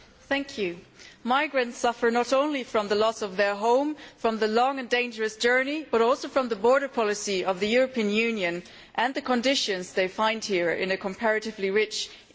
Mr President, migrants suffer not only from the loss of their home, from the long and dangerous journey, but also from the border policy of the European Union and the conditions they find here in a comparatively rich EU.